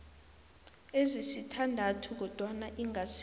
ezisithandathu kodwana ingasi